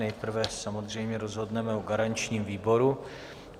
Nejprve samozřejmě rozhodneme o garančním výboru.